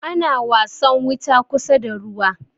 ana wasan wuta kusa da ruwa